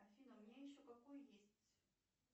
афина у меня еще какой есть